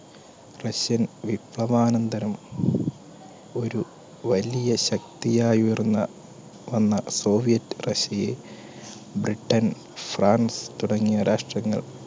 russian വിപ്ലവാനന്തരം ഒരു വലിയ ശക്തിയായി ഉയർന്ന് വന്ന സോവിയറ്റ് റഷ്യയെ ബ്രിട്ടൻ, ഫ്രാൻസ് തുടങ്ങിയ രാഷ്ട്രങ്ങൾ